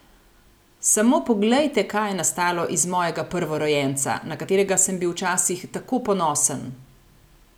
Samo poglejte, kaj je nastalo iz mojega prvorojenca, na katerega sem bil včasih tako ponosen!